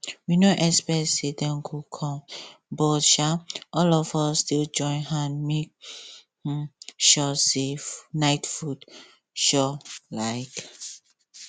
we no expect say dem go come but um all of us still join hand make um sure say night food sure um